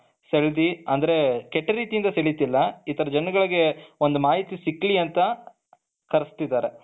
ಸೆಳದಿ ಅಂದ್ರೆ ಕೆಟ್ಟ ರೀತಿಯಿಂದ ಏನು ಸೆಳಿತಿಲ್ಲ ಈ ತರ ಜನರಿಗೆ ಒಂದು ಮಾಹಿತಿ ಸಿಗ್ಲಿ ಅಂತ ಕರ್ಸ್ಥಿದ್ದಾರೆ.